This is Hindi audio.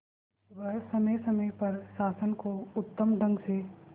वह समय समय पर शासन को उत्तम ढंग से